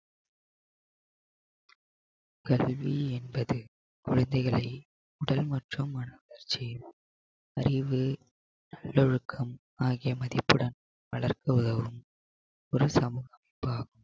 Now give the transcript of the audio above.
கல்வி என்பது குழந்தைகளை உடல் மற்றும் மன வளர்ச்சியின் அறிவு நல்லொழுக்கம் ஆகிய மதிப்புடன் வளர்க்க உதவும் ஒரு சமூக